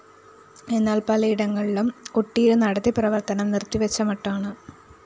എന്നാല്‍ പലയിടങ്ങളിലും ഒട്ടീര് നടത്തി പ്രവര്‍ത്തനം നിര്‍ത്തി വച്ച മട്ടാണ്